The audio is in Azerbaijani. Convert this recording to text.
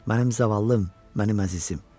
Mənim zavallım, mənim əzizim.